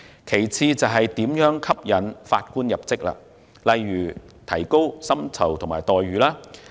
其次，如何吸引法官入職，例如提高薪酬及待遇等。